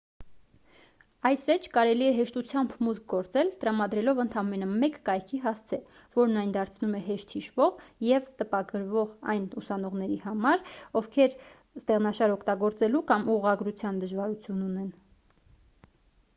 այս էջ կարելի է հեշտությամբ մուտք գործել տրամադրելով ընդամենը մեկ կայքի հասցե որն այն դարձնում է հեշտ հիշվող և տպագրվող այն ուսանողների համար ովքեր ստեղշնաշար օգտագործելու կամ ուղղագրության դժվարություն ունեն